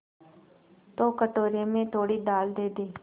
तो कटोरे में थोड़ी दाल दे दे